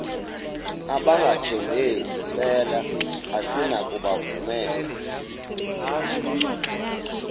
abangathembeki mpela asinakubovumela